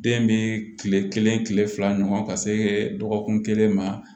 Den bɛ kile kelen kile fila ɲɔgɔn ka se dɔgɔkun kelen ma